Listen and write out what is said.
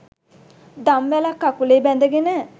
දම්වැලක්‌ කකුලේ බැඳගෙන